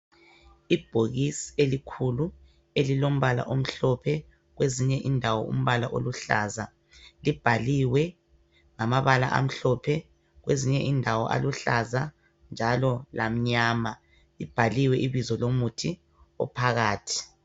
Ibhokisi elikhulu elilombala omhlophe kwezinye indawo umbala oluhlaza libhaliwe ngamabala amhlophe kwezinye indawo aluhlaza njalo lamnyama libhaliwe ibizo lomuthi ophakathi